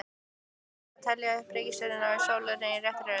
Fyrsta spurning var: Teljið upp reikistjörnur sólar í réttri röð.